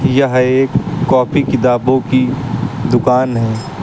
यह एक कापी किताबो की दुकान है।